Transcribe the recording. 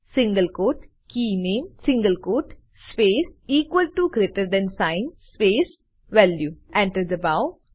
single quote કે નામે single quote space equal to greater than sign space value Enter દબાઓ